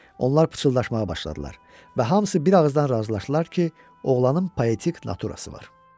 Onlar pıçıldaşmağa başladılar və hamısı bir ağızdan razılaşdılar ki, oğlanın poetik naturası var.